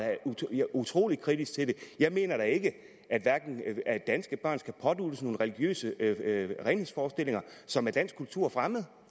da utrolig kritisk til det jeg mener ikke at danske børn skal påduttes nogle religiøse renhedsforestillinger som er dansk kultur fremmed